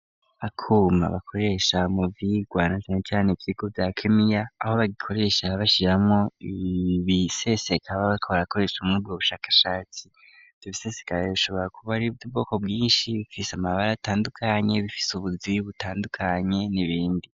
Akuma bakoresha mu vyigwa na cane ivyigo vya kemiya aho bagikoresha bashijmo ibisesekaba bakbar akoresha muri bwo bushakashatsi tubisesekare bishobora kuba ari byo ubwoko bwinshi bifise amabara atandukanye bifise ubuziyi butandukanye n'ibindi.